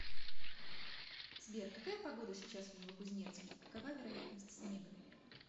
сбер какая погода сейчас в новокузнецке какова вероятность снега